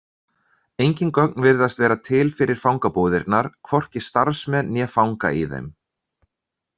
Engin gögn virðast vera til fyrir fangabúðirnar, hvorki starfsmenn né fanga í þeim.